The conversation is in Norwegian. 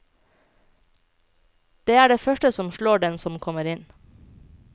Det er det første som slår den som kommer inn.